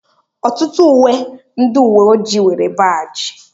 ọtụtụ uwe ndị uwe ojii nwere baajị